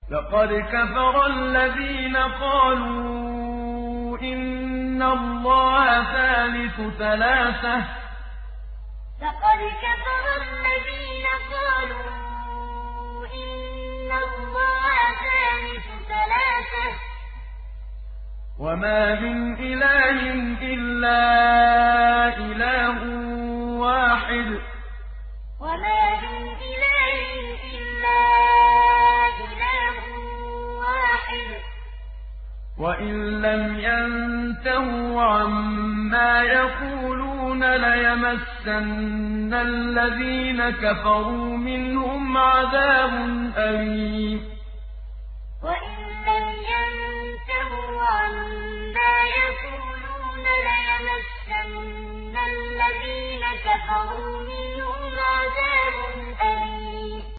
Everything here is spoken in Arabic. لَّقَدْ كَفَرَ الَّذِينَ قَالُوا إِنَّ اللَّهَ ثَالِثُ ثَلَاثَةٍ ۘ وَمَا مِنْ إِلَٰهٍ إِلَّا إِلَٰهٌ وَاحِدٌ ۚ وَإِن لَّمْ يَنتَهُوا عَمَّا يَقُولُونَ لَيَمَسَّنَّ الَّذِينَ كَفَرُوا مِنْهُمْ عَذَابٌ أَلِيمٌ لَّقَدْ كَفَرَ الَّذِينَ قَالُوا إِنَّ اللَّهَ ثَالِثُ ثَلَاثَةٍ ۘ وَمَا مِنْ إِلَٰهٍ إِلَّا إِلَٰهٌ وَاحِدٌ ۚ وَإِن لَّمْ يَنتَهُوا عَمَّا يَقُولُونَ لَيَمَسَّنَّ الَّذِينَ كَفَرُوا مِنْهُمْ عَذَابٌ أَلِيمٌ